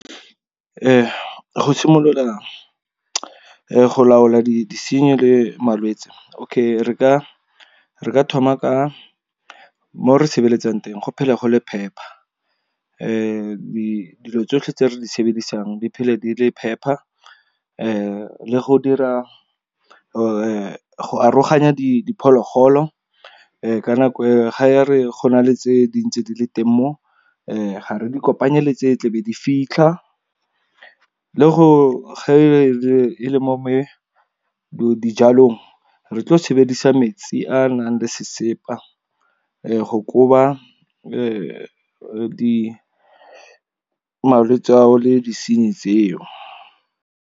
Go simolola go laola disenyi le malwetsi, okay re ka thoma ka mo re sebetsang teng go phele go le phepa. Dilo tsotlhe tse re di sebedisa di phele di le phepa, le go dira go aroganya di diphologolo. Ka nako ga re go na le tse dintsi di le teng mo, ga re di kopanye le tse tlebe di fitlha. Le go ge e le mo dijalong. Re tlo sebedisa metsi a a nang le sesepa go koba malwetse ao le disenyi tseo.